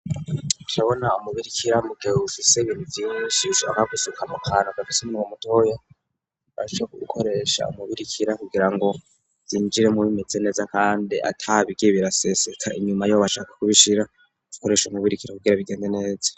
Cabona umubiri ikira mugewusi sebirivyishishaka gusuka mu kantu gafisi mu mudoya aco gukoresha umubiri ikira kugira ngo yinjire mubimeze neza, kandi atabigi biraseseka inyuma yobashaka kubishira kukoresha nu birikira kugira bigende neza.